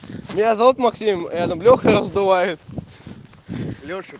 меня зовут максим рядом леха раздувает лёша